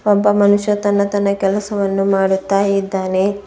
ಒಬ್ಬ ಮನುಷ್ಯ ತನ್ನ ತನ್ನ ಕೆಲಸವನ್ನು ಮಾಡುತ್ತಾ ಇದ್ದಾನೆ.